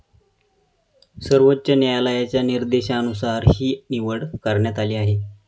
सर्वोच्च न्यायालयाच्या निर्देशानुसार ही निवड करण्यात आली आहे.